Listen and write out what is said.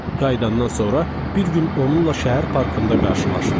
Qayıdandan sonra bir gün onunla şəhər parkında qarşılaşdım.